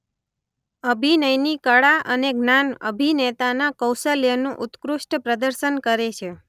અભિનયની કળા અને જ્ઞાન અભિનેતાના કૌશલ્યનું ઉત્કૃષ્ટ પ્રદર્શન કરે છે.